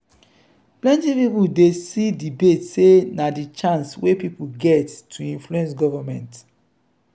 plenty pipo dey see debate sey na di chance wey pipo get to influence government.